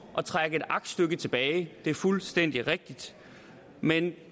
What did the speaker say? at trække et aktstykke tilbage det er fuldstændig rigtigt men